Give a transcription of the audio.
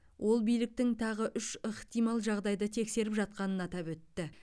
ол биліктің тағы үш ықтимал жағдайды тексеріп жатқанын атап өтті